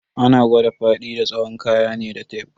Ana kwada faɗi da tsawon kaya ne da tef.